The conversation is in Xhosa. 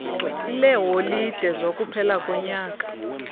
leeholide zokuphela konyaka